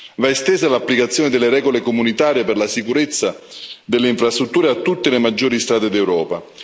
Va estesa l'applicazione delle regole comunitarie per la sicurezza delle infrastrutture a tutte le maggiori strade d'Europa.